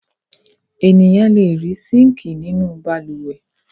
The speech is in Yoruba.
Ènìyàn le rí síńkì nínú balùwẹ̀.